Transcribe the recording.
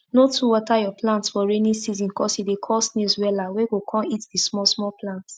no too water your plants for rainy season cos e dey call snails wella wey go con eat the small small plants